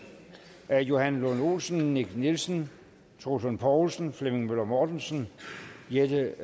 af johan lund olsen nick nielsen troels lund poulsen flemming møller mortensen helle